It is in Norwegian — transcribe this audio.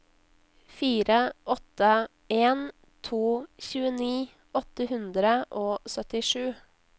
fire åtte en to tjueni åtte hundre og syttisju